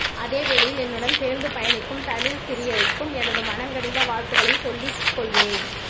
அதே வேளையில் என்னுடன் சேர்ந்து பயணிக்கும் தமிழ் சிறியருக்கும் எனது மனங்கனிந்த வாழ்த்துகளை சொல்லிக் கொள்கின்றேன்